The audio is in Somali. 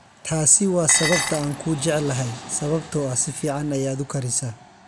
Taasi waa sababta aan kuu jeclahay, sababtoo ah si fiican ayaad u karisaa.